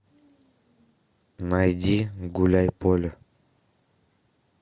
найди гуляй поле